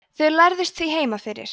þau lærðust því heima fyrir